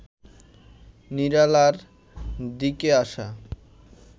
নিরালার দিকে আসা